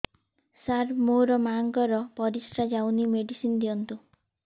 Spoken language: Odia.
ସାର ମୋର ମାଆଙ୍କର ପରିସ୍ରା ଯାଉନି ମେଡିସିନ ଦିଅନ୍ତୁ